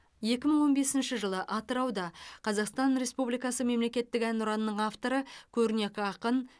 екі мың он бесінші жылы атырауда қазақстан республикасы мемлекеттік әнұранының авторы көрнекі ақын